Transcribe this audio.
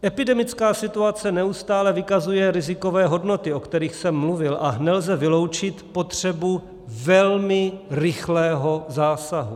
Epidemická situace neustále vykazuje rizikové hodnoty, o kterých jsem mluvil, a nelze vyloučit potřebu velmi rychlého zásahu.